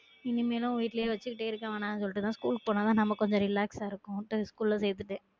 இனிமேலும் வீட்டுலையே வச்சுக்கிட்டே இருக்க வேணாம்ன்னு சொல்லிட்டு தான் ஸ்கூல்க்கு போனா தான் நம்ம கொஞ்சம் relax ஆ இருக்கும்ட்டு ஸ்கூல்ல சேதத்துடன்